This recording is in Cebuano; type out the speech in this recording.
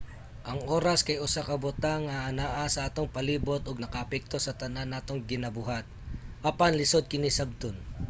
ang oras kay usa ka butang nga anaa sa atong palibot ug nakaapekto sa tanan natong ginabuhat apan lisud kini sabton